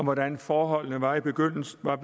om hvordan forholdene var i begyndelsen af